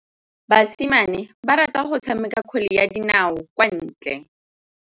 Basimane ba rata go tshameka kgwele ya dinaô kwa ntle.